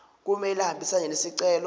kumele ahambisane nesicelo